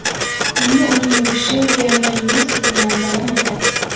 Endi uning yurishi Lionel Messi bilan davom etadi.